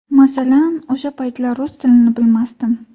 Masalan, o‘sha paytlari rus tilini bilmasdim.